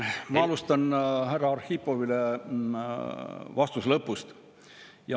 Ma alustan härra Arhipovile vastamist lõpust.